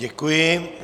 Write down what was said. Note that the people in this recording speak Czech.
Děkuji.